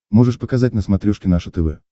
можешь показать на смотрешке наше тв